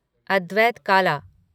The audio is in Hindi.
अद्वैत काला